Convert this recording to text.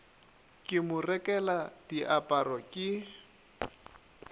ke mo rekela diaparo ke